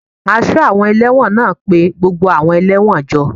Aṣọ́ àwọn ẹlẹ́wọ̀n náà pé gbogbo àwọn ẹlẹ́wọ̀n jọ